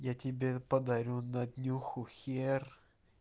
я тебе подарю на днюху хер